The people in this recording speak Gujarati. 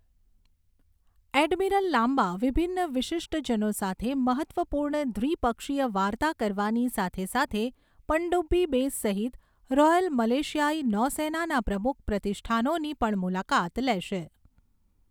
એડમિરલ લામ્બા વિભિન્ન વિશિષ્ટજનો સાથે મહત્ત્વપૂર્ણ દ્વિપક્ષીય વાર્તા કરવાની સાથે સાથે પનડુબ્બી બેસ સહિત રૉયલ મલેશિયાઈ નૌસેનાના પ્રમુખ પ્રતિષ્ઠાનોની પણ મુલાકાત લેશે.